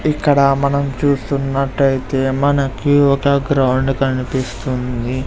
ఇక్కడ మనం చూస్తున్నట్టయితే మనకి ఒక గ్రౌండ్ కనిపిస్తుంది.